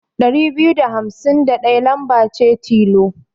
Ɗari biyu da hamsin da ɗaya lamba ce tilo.